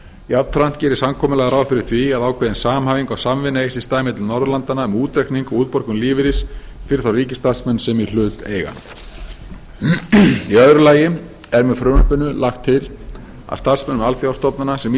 jafnframt gerir samkomulagið ráð fyrir því að ákveðin samhæfing og samvinna eigi sér stað milli norðurlandanna um útreikning og útborgun lífeyris fyrir þá ríkisstarfsmenn sem í hlut eiga í öðru lagi er með frumvarpinu lagt til að starfsmönnum alþjóðastofnana sem